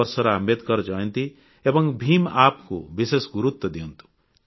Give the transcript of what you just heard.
ଏ ବର୍ଷର ଆମ୍ବେଦକର ଜୟନ୍ତୀ ଏବଂ ଭିମ୍ App କୁ ବିଶେଷ ଗୁରୁତ୍ୱ ଦିଅନ୍ତୁ